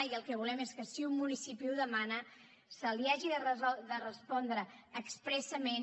i el que volem és que si un municipi ho demana se li hagi de respondre expressament